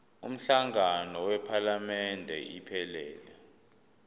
umhlangano wephalamende iphelele